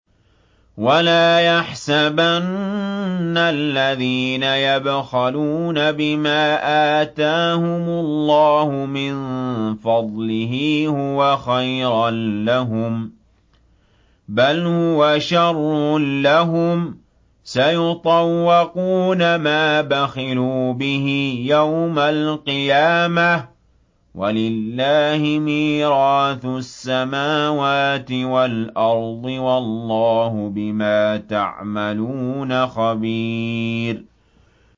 وَلَا يَحْسَبَنَّ الَّذِينَ يَبْخَلُونَ بِمَا آتَاهُمُ اللَّهُ مِن فَضْلِهِ هُوَ خَيْرًا لَّهُم ۖ بَلْ هُوَ شَرٌّ لَّهُمْ ۖ سَيُطَوَّقُونَ مَا بَخِلُوا بِهِ يَوْمَ الْقِيَامَةِ ۗ وَلِلَّهِ مِيرَاثُ السَّمَاوَاتِ وَالْأَرْضِ ۗ وَاللَّهُ بِمَا تَعْمَلُونَ خَبِيرٌ